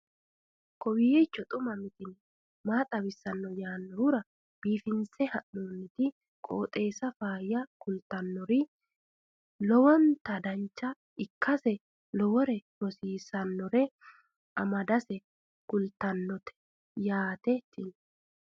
kowiicho xuma mtini maa xawissanno yaannohura biifinse haa'noonniti qooxeessano faayya kultannori lowonta dancha ikkase lowore rosiisannore amadase kultannote yaate tini